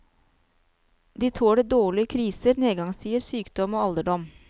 De tåler dårlig kriser, nedgangstider, sykdom og alderdom.